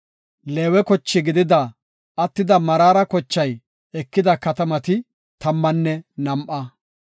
Leewe koche gidida attida Meraara kochay ekida katamati tammanne nam7a.